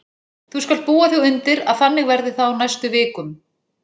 Þú skalt búa þig undir að þannig verði það á næstu vik- um.